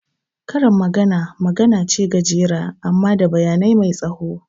Karin magana magana ce gajera amma da bayani mai tsawo